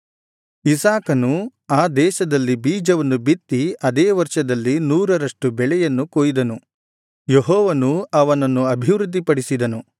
ಇಸಾಕನು ಆ ದೇಶದಲ್ಲಿ ಬೀಜವನ್ನು ಬಿತ್ತಿ ಅದೇ ವರ್ಷದಲ್ಲಿ ನೂರರಷ್ಟು ಬೆಳೆಯನ್ನು ಕೊಯ್ದನು ಯೆಹೋವನು ಅವನನ್ನು ಅಭಿವೃದ್ಧಿಪಡಿಸಿದನು